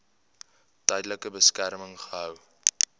tydelike beskerming gehou